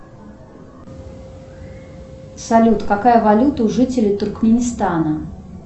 салют какая валюта у жителей туркменистана